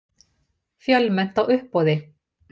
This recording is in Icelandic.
Fjölmennt á uppboði